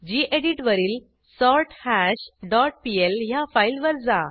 गेडीत वरील सोर्थाश dot PL ह्या फाईलवर जा